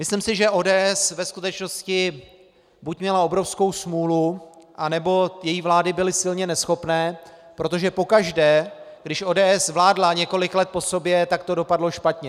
Myslím si, že ODS ve skutečnosti buď měla obrovskou smůlu, anebo její vlády byly silně neschopné, protože pokaždé, když ODS vládla několik let po sobě, tak to dopadlo špatně.